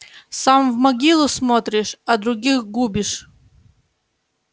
сам в могилу смотришь а других губишь